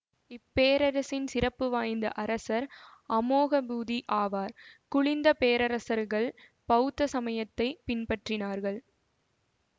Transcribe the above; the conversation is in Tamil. இப்பேரரசின் சிறப்பு வாய்ந்த அரசர் அமோகபூதி ஆவார் குலிந்த பேரரசர்கள் பௌத்த சமயத்தை பின்பற்றினார்கள்